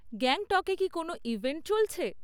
গ্যাংটকে কি কোনো ইভেন্ট চলছে?